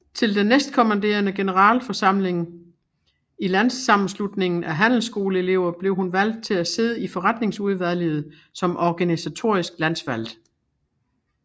Til den næstkommende generalforsamling i Landssammenslutningen af Handelsskoleelever blev hun valgt til at sidde i forretningsudvalget som organisatorisk landsvalgt